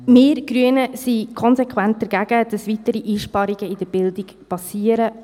Wir Grüne sind konsequent dagegen, dass weitere Einsparungen in der Bildung geschehen.